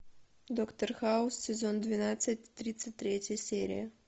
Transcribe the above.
доктор хаус сезон двенадцать тридцать третья серия